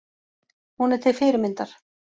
Hún er til fyrirmyndar.